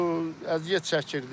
əziyyət çəkirdik.